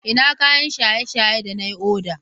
Ina kayan shaye-shaye da na yi oda?